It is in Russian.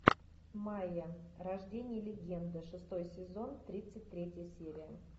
майя рождение легенды шестой сезон тридцать третья серия